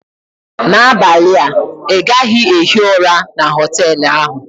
N'abalị a ị gaghị ehi ụra na họtel ahụ!